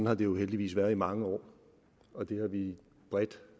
har det jo heldigvis været i mange år og det har vi bredt